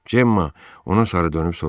Cemma ona sarı dönüb soruştu: